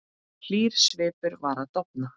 Hlýr svipur var að dofna.